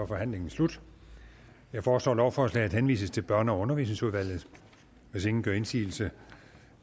forhandlingen sluttet jeg foreslår at lovforslaget henvises til børne og undervisningsudvalget hvis ingen gør indsigelse